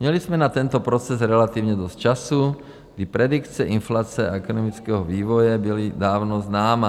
Měli jsme na tento proces relativně dost času, kdy predikce inflace a ekonomického vývoje byla dávno známá.